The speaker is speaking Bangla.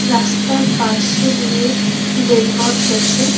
রাস্তার পাশে দিয়ে রেলপথ গেছে।